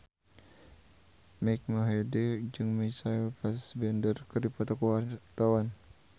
Mike Mohede jeung Michael Fassbender keur dipoto ku wartawan